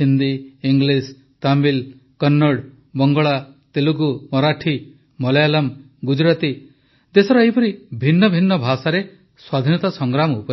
Hindi English Tamil Kannada Bangla Telugu Marathi Malayalam Gujarati ଦେଶର ଏପରି ଭିନ୍ନ ଭିନ୍ନ ଭାଷାରେ ସ୍ୱାଧୀନତା ସଂଗ୍ରାମ ଉପରେ ଲେଖିବେ